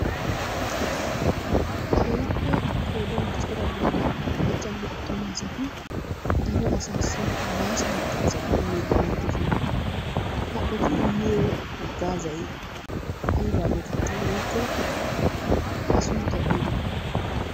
Keehippe qoodan cora gidida maccanne attuma asati dere asaassi bàaso haggaazaa immiiddi beettoosona. Ha eti immiyo haggaazayi aybaa geetettii woykko a sunttayi aybee?